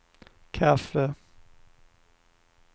kaffe